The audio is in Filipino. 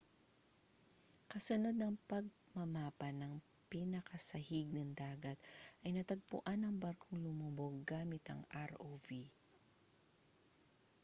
kasunod ng pagmamapa ng pinakasahig ng dagat ay natagpuan ang barkong lumubog gamit ang rov